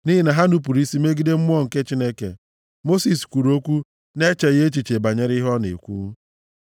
nʼihi na ha nupuru isi megide Mmụọ nke Chineke, Mosis kwuru okwu, na-echeghị echiche banyere ihe ọ na-ekwu.